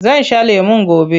Zan sha lemon goba.